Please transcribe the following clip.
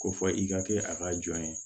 Ko fɔ i ka kɛ a ka jɔn ye